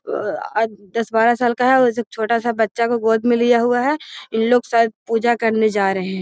दस बारह साल का है छोटा सा बच्चा को गोद में लिया हुआ है इन लोग शायद पूजा करने जा रहे हैं।